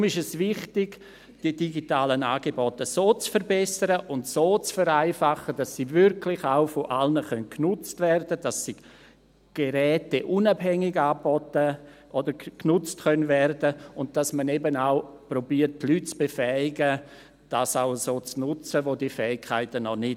Deshalb ist es wichtig, die digitalen Angebote so zu verbessern und so zu vereinfachen, dass sie wirklich auch von allen genutzt werden können und geräteunabhängig angeboten werden oder genutzt werden können und dass man auch die Leute, die diese Fähigkeiten noch nicht haben, zur Nutzung zu befähigen versucht.